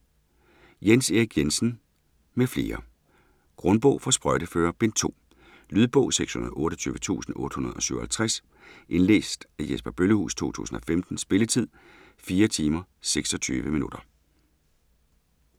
Jens Erik Jensen m.fl. : Grundbog for sprøjteførere Bind 2. Lydbog 628857 Indlæst af Jesper Bøllehuus, 2015. Spilletid: 4 timer, 26 minutter.